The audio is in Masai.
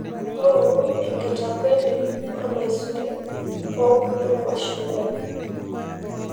ngoru enkitakweni ormaisuri oo ormachungwai